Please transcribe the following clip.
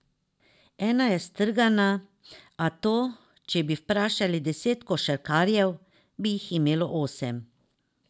Ena je strgana, a to, če bi vprašali deset košarkarjev, bi jih imelo osem.